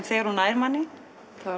þegar hún næ manni